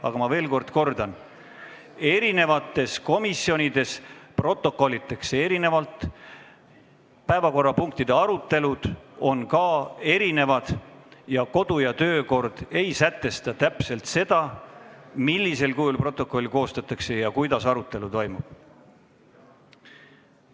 Aga ma veel kord ütlen, et eri komisjonides protokollitakse erinevalt, päevakorrapunktide arutelud on erinevad ning kodu- ja töökorra seadus ei sätesta täpselt, millisel kujul peab protokoll olema koostatud ja kuidas arutelu toimub.